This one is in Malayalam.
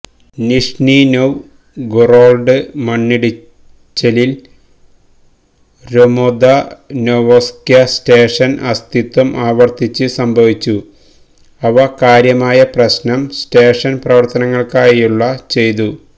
നിഷ്നിനൊവ്ഗൊറൊഡ് മണ്ണിടിച്ചിൽ ൽ രൊമൊദനൊവ്സ്ക്യ് സ്റ്റേഷൻ അസ്തിത്വം ആവർത്തിച്ച് സംഭവിച്ചു അവ കാര്യമായ പ്രശ്നം സ്റ്റേഷൻ പ്രവര്ത്തനങ്ങള്ക്കായുള്ള ചെയ്തു